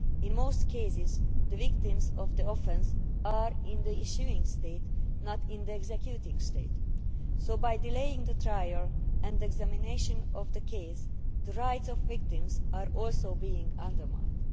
In most cases, the victims of the offence are in the issuing state, not in the executing state, so by delaying the trial and examination of the case, the rights of victims are also being undermined.